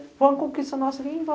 Foi uma conquista nossa em vão